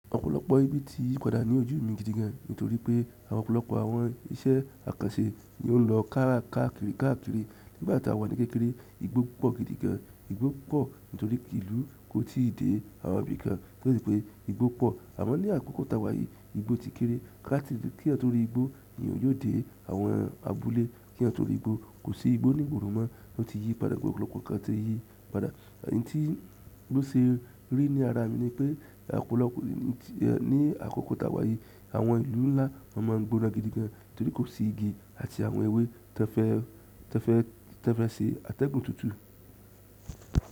Ọ̀pọ̀lọpọ̀ ibi ti yípadà ní ojú mi gidi gan, nítorí pé ọ̀pọ̀lọpọ̀ àwọn ìṣẹ àkànṣe ni ó ń lọ káàkiri, káàkiri. Nígbà tí a wà ní kékeré, igbó pọ̀ gidi gan. Igbo po torí ìlú ko ti de àwọn ibi kan o se pe igbo po. Àmo ní àkókò tá wá yìí, igbó ti kéré. Kí ẹ torí igbó ni eeyan yiò dé àwọn abúlé. Kí ẹ torí igbó, kò sí igbó ní ìgboro mọ. Ó ti yípadà, ọ̀pọ̀lọpọ̀ kan ti yípadà. Ẹ̀yin tí n ló se rí ní ara mi ni pé ní àkókò tá wá yìí, àwọn ìlú ńlá má a ń gbóná gidi gan nítorí kò sí igi àti àwọn ewé tan fẹ ṣe àtẹ̀gùn tútù.